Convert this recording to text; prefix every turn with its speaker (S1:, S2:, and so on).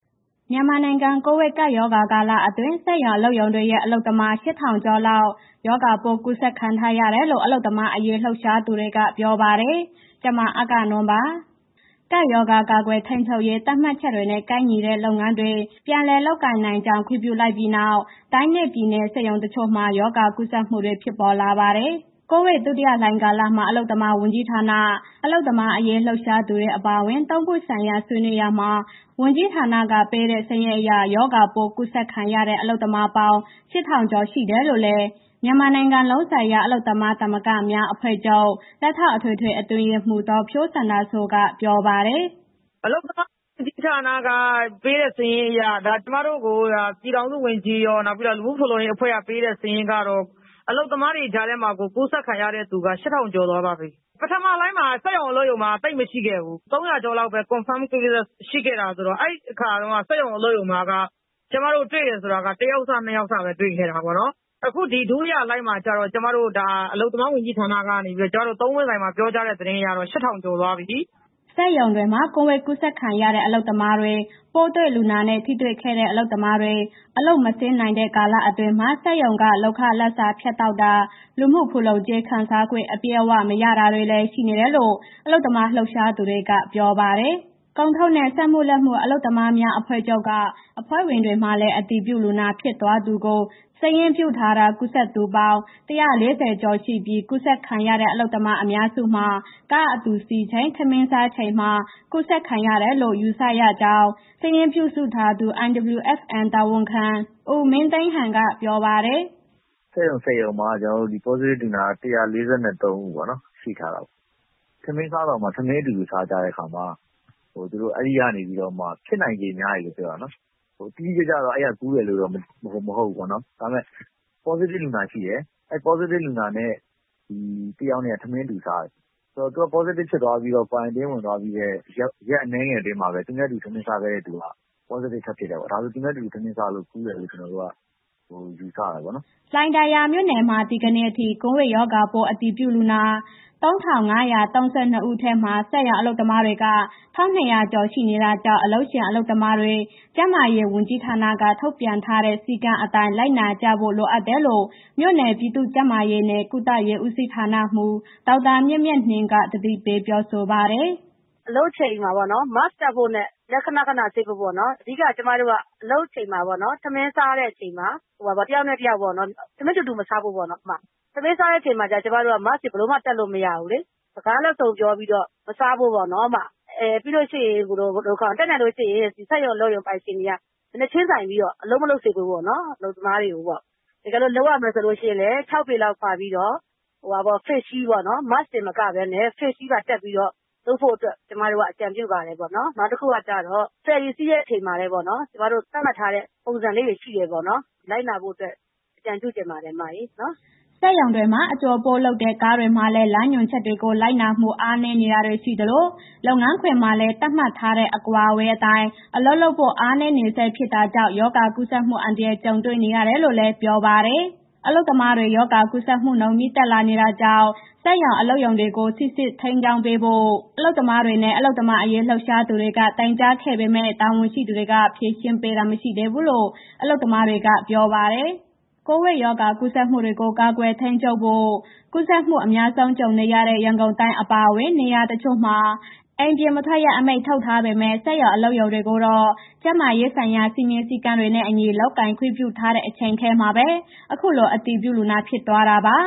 S1: မြန်မာနိုင်ငံ ကိုဗစ်ကပ်ရောဂါကာလအတွင်း စက်ရုံအလုပ်ရုံတွေရဲ့ အလုပ်သမား ၈,၀၀၀ ကျော်လောက် ရောဂါပိုးကူးစက်ခံထားတယ်လို့ အလုပ်သမားအရေး လှုပ်ရှားသူတွေက ပြောပါတယ်။ ဗွီအိုအေမြန်မာပိုင်း သတင်းထောက် မအဂ္ဂနွန်က သတင်းပေးပို့ထားပါတယ်။ ကပ်ရောဂါ ကာကွယ်ထိန်းချုပ်ရေး သတ်မှတ်ချက်တွေနဲ့ ကိုက်ညီတဲ့ လုပ်ငန်းတွေ ပြန်လည်လုပ်ကိုင်နိုင်ကြောင်း ခွင့်ပြုလိုက်ပြီးနောက် တိုင်းနဲ့ ပြည်နယ်က စက်ရုံတချို့မှာ ရောဂါကူးစက်မှုတွေ ဖြစ်ပေါ်လာပါတယ်။ ကိုဗစ်ဒုတိယလှိုင်းကာလမှာ အလုပ်သမားဝန်ကြီးဌာန၊ အလုပ်သမားအရေးလှုပ်ရှားသူတွေ အပါအဝင် သုံးပွင့်ဆိုင်ရာဆွေးနွေးရာမှာ ဝန်ကြီးဌာနက ပေးတဲ့ စရင်းအရ ရောဂါပိုး ကူးစက်ခံရတဲ့ အလုပ်သမားပေါင်း ၈,၀၀၀ ကျော်ရှိတယ်လို့လည်း မြန်မာနိုင်ငံလုံးဆိုင်ရာ အလုပ်သမားသမဂ္ဂများ အဖွဲ့ချုပ် လက်ထောက်အထွေထွေအတွင်းရေးမှူး ဒေါ်ဖြိုးစန္ဒာစိုးက ပြောပါတယ်။ “အ
S2: လုပ်သမားဝန်ကြီးဌာနက ပေးတဲ့ စာရင်းအရ၊ ဒါ ကျမတို့ကို ပြည်ထောင်စုဝန်ကြီးရော နောက်ပြီး လူမှုဖူလုံရေးအဖွဲ့က ပေးတဲ့ စာရင်းကတော့ အလုပ်သမားတွေကြားထဲမှာကို ကူးစက်ခံရတဲ့သူက ၈,၀၀၀ ကျော်သွားပါပြီ။ ပထမလှိုင်းမှာ စက်ရုံအလုပ်ရုံက သိပ်မရှိခဲ့ဘူး။ ၃၀၀ ကျော်လောက်ပဲ confirm case ရှိခဲ့တာဆိုတော့ အဲ့အခါတုန်းက စက်ရုံအလုပ်ရုံမှာက ကျမတို့တွေ့တယ်ဆိုတာက တစ်ယောက်စ၊ နှစ်ယောက်စပဲ တွေ့ခဲ့တာပေါ့နော်။ အခု ဒီဒုတိယလှိုင်းမှာကျတော့ ကျမတို့ ဒါ အလုပ်သမားဝန်ကြီးဌာနကနေပြီးတော့ ကျမတို့ သုံးပွင့်ဆိုင်မှာ ပြောကြားတဲ့ သတင်းအရတော့ ၈,၀၀၀ ကျော်သွားပြီ။
S1: ” စက်ရုံတွေမှာ ကိုဗစ်ကူးစက်ခံရတဲ့ အလုပ်သမားတွေ၊ ပိုးတွေ့လူနာနဲ့ ထိတွေ့ခဲ့တဲ့ အလုပ်သမားတွေ အလုပ်မဆင်းနိုင်တဲ့ကာလအတွင်းမှာ စက်ရုံက လုပ်ခလစာဖြတ်တောက်တာ၊ လူမှုဖူလုံကြေး ခံစားခွင့် အပြည့်အဝမရတာတွေလည်း ရှိနေတယ်လို့ အလုပ်သမားလှုပ်ရှားသူတွေက ပြောပါတယ်။ ကုန်ထုတ်နဲ့ စက်မှုလက်မှု အလုပ်သမားများအဖွဲ့ချုပ်က အဖွဲ့ဝင်တွေမှာလည်း အတည်ပြုလူနာဖြစ်သွားသူကို စာရင်းပြုစုထားတာ ကူးစက်သူပေါင်း ၁၄၀ ကျော်ရှိပြီး ကူးစက်ခံရတဲ့ အလုပ်သမားအများစုမှာ ကားအတူစီးချိန်၊ ထမင်းစားချိန်မှာ ကူးစက်ခံရတယ်လို့ ယူဆရကြောင်း စာရင်းပြုစုထားသူ IWFM ရုံးတာဝန်ခံ ဦးမင်းသိန်းဟန်က ပြောပါတယ်။
S3: “စက်ရုံ ၁၀ ရုံမှာ ကျနော်တို့ ဒီ positive လူနာက ၁၄၃ ဦးပေ့ါနော်... ရှိထားတယ်ပေါ့၊ ထမင်းစားတောင်မှာ ထမင်းအတူတူစားကြတဲ့ အခါမှာ သူတို့ အဲ့ဒီကနေပြီးတော့ ဖြစ်နိုင်ခြေများတယ်လို့ပြောတာနော်။ တိတိကျကျတော့ အဲ့ဒီက ကူးတယ်လို့တော့ မသိဟုတ်ဘူးပေါ့နော်။ ဒါပေမဲ့ positive လူနာရှိတယ်။ အဲ့ positive လူနာနဲ့ တစ်ယောက်နဲ့ ထမင်းအတူစားတယ်ဆိုတော့ သူ positive ဖြစ်သွားပြီးတော့ quarantine ဝင်သွားပြီးတဲ့ ရက်အနည်းငယ်ထဲမှာပဲ သူနဲ့ အတူတူထမင်းစားခဲ့တဲ့ သူက positive ထပ်ဖြစ်တယ်ပေါ့။ ဒါဆို သူနဲ့တူတူ ထမင်းစားလို့ ကူးတယ်လို့ ကျနော်တို့ ယူဆတယ်ပေါ့နော်။
S1: ” လှိုင်သာယာမြို့နယ်မှာ ဒီကနေ့အထိ ကိုဗစ်ရောဂါပိုးအတည်ပြု လူနာ ၃,၅၃၂ ထဲမှာ စက်ရုံအလုပ်သမားတွေက ၁,၂၀၀ ကျော်ရှိနေတာကြောင့် အလုပ်ရှင်၊ အလုပ်သမားတွေကျန်းမာရေးဝန်ကြီးဌာနက ထုတ်ပြန်ထားတဲ့ စည်းကမ်းအတိုင်း လိုက်နာဖို့လိုအပ်တယ်လို့ မြို့နယ် ပြည်သူ့ကျန်းမာရေးနဲ့ ကုသရေးဦးစီးဌာနမှူး ဒေါက်တာမြတ်မြတ်နှင်းက သတိပေးပြောဆိုပါတယ်။
S4: “အလုပ်အချိန်မှာပေါ့နော် Mask တပ်ဖို့နဲ့ လက်ခဏခဏဆေးပေးဖို့နော်။ အဓိက ကျမတို့က အလုပ်ချိန်မှာပေါ့နော်... ထမင်းစားတဲ့အချိန်မှာ တစ်ယောက်နဲ့ တစ်ယောက်ပေါ့နော်၊ ထမင်းတူတူ မစားဖို့ပေါ့နော်။ ထမင်းစားတဲ့အချိန်မှာ Mask တွေ ဘယ်လိုမှ တပ်လို့မရဘူးလေ။ စကားလက်စုံပြောပြီး မစားဖို့ပေါ့နော်၊ ပြီးလို့ရှိရင် တတ်နိုင်လို့ရှိရင် စက်ရုံပိုင်ရှင်တွေက မျက်နှာချင်းဆိုင်ပြီးတော့ အလုပ်မလုပ်စေပေးဖို့ပေါ့နော်။ အလုပ်သမားတွေကိုတော့ တကယ်လို့ လုပ်မယ်ဆိုလို့ရှိရင်လည်း ၆ ပေခွာပြီးတော့ face shield ပေါ့နော်။ Mask တွေမကဘဲနဲ့ face shield ပါတပ်ပြီးတော့ လုပ်ဖို့အတွက် ကျမတို့ အကြံပြုပါတယ်ပေါ့။ တစ်ခုကကျတော့ ဖယ်ရီစီးတဲ့အချိန်မှာလည်း ကျမတို့ သတ်မှတ်ထားတဲ့ ပုံစံလေးတွေရှိတယ်ပေါ့နော်၊ လိုက်နာဖို့အတွက် အကြံပြုချင်ပါတယ်နော်။
S1: ” စက်ရုံတွေမှာ အကြိုအပို့လုပ်တဲ့ ကားတွေမှာလည်း လမ်းညွှန်ချက်တွေကို လိုက်နာမှု အားနည်းတာတွေ ရှိသလို လုပ်ငန်းခွင်မှာလည်း သတ်မှတ်ထားတဲ့ အကွာအဝေးအတိုင်း အလုပ်လုပ်ဖို့ အားနည်းနေဆဲဖြစ်တာကြောင့် ရောဂါကူးစက်မှု အန္တရာယ် ကြုံနေရတာလို့လည်း ပြောပါတယ်။ အလုပ်သမားတွေ ရောဂါ ကူးစက်မှုနှုန်းမြင့်တက်နေတာကြောင့် စက်ရုံ အလုပ်ရုံတွေကို စိစစ် ထိန်းကြောင်းပေးဖို့ အလုပ်သမားတွေနဲ့ အလုပ်သမားအရေး လှုပ်ရှားသူတွေက တိုင်ကြားခဲ့ပေမဲ့ တာဝန်ရှိသူတွေ ဖြေရှင်းပေးတာမရှိသေးလို့ အလုပ်သမားတွေက ပြောပါတယ်။ ကိုဗစ်ရောဂါကူးစက်မှုတွေကို ကာကွယ်ထိန်းချုပ်ဖို့ ကူးစက်မှုတွေ အများဆုံး ကြုံနေရတဲ့ ရန်ကုန်တိုင်းအပါအဝင် နေရာတချို့မှာ အိမ်ပြင်မထွက်ရ အမိန့်ထုတ်ထားပေမဲ့ စက်ရုံအလုပ်ရုံတွေကိုတော့ ကျန်းမာရေးဆိုင်ရာ စည်းမျဉ်းစည်းကမ်းတွေနဲ့အညီ လုပ်ကိုင်ခွင့်ပြုထားတဲ့ အချိန်ထဲမှာပဲ အခုလို အတည်ပြုလူနာဖြစ်သွားတာပါ